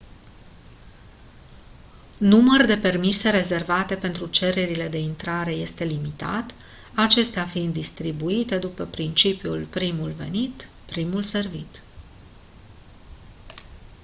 număr de permise rezervate pentru cererile de intrare este limitat acestea fiind distribuite după principiul primul venit primul servit